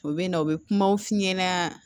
U bɛ na u bɛ kumaw f'i ɲɛna